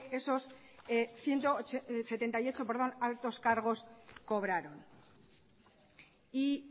esos ciento setenta y ocho altos cargos cobraron y